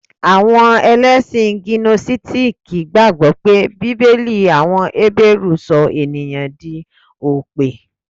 Àwọn Ẹlẹ́sìn gínósítìkì gbàgbọ́ pé Bíbélì àwọn Hébérù sọ ènìyàn di òpè